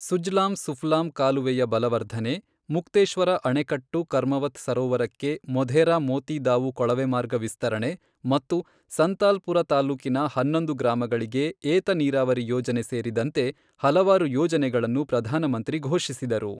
ಸುಜ್ಲಾಮ್ ಸುಫ್ಲಾಮ್ ಕಾಲುವೆಯ ಬಲವರ್ಧನೆ, ಮುಕ್ತೇಶ್ವರ ಅಣೆಕಟ್ಟು ಕರ್ಮವತ್ ಸರೋವರಕ್ಕೆ ಮೊಧೇರಾ ಮೋತಿ ದಾವು ಕೊಳವೆ ಮಾರ್ಗ ವಿಸ್ತರಣೆ ಮತ್ತು ಸಂತಾಲ್ ಪುರ ತಾಲ್ಲೂಕಿನ ಹನ್ನೊಂದು ಗ್ರಾಮಗಳಿಗೆ ಏತ ನೀರಾವರಿ ಯೋಜನೆ ಸೇರಿದಂತೆ ಹಲವಾರು ಯೋಜನೆಗಳನ್ನು ಪ್ರಧಾನಮಂತ್ರಿ ಘೋಷಿಸಿದರು.